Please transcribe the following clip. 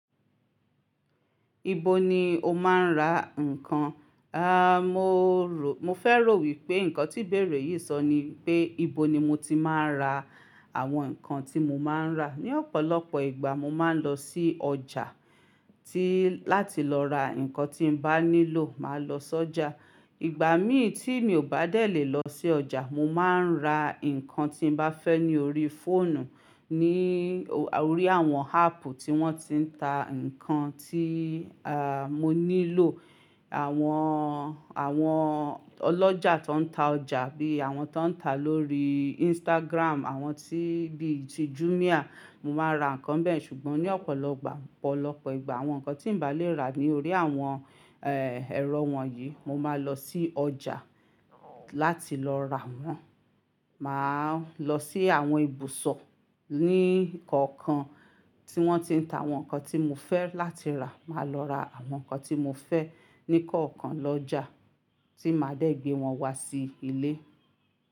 Ibo ni o máa ń ra nǹkan? Aà, mo rò, mo fẹ́ rò wípé nǹkan tí ibèrè yìí sọ ni pé, ibo ni mo ti máa ń ra àwọn nǹkan tí mo máa ń rà. Ni ọ̀pọ̀lọpọ̀ ìgbà mo máa ń lọ sí ọjà tí, láti lọ ra nǹkan tí n bá nílò, màá lọ s'ọjà. Ìgbà mí tí mi ò bá dè lè lọ sí ọjà, mo máa ń ra nǹkan tí n bá fẹ́ ní orí fóònù, ní orí àwọn áàpù tí wọ́n ti ń ta nǹkan tí, àà, mo nílò. Àwọn, àwọn ọlọ́jà tó ń ta ọjà bí i àwọn tó ń ta lórí Instagram, àwọn tí, bí i ti Jumia, mo máa ra nǹkan bẹ́ẹ̀. Ṣùgbọ́n ní ọ̀pọ̀lọpọ̀, ọ̀pọ̀lọpọ̀ ìgbà àwọn nǹkan tí n bà lè rà ní orí àwọn, ẹ́, ẹ̀rọ wọ̀nyí, mo máa lọ sí ọjà láti lọ rà wọ́n. Màá lọ sí àwọn ibùsọ̀ ní kọ̀ọ̀kan tí wọ́n ti ń ta àwọn nǹkan tí mo fẹ́ láti rà, màá lọ ra àwọn nǹkan tí mo fẹ́ ní kọ̀ọ̀kan lọ́jà tí màá dẹ̀ gbé wọn wá sí ilé.